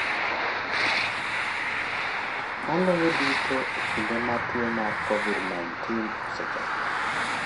Maloyo duto e kinde ma tuo mar COVID-19 osechako.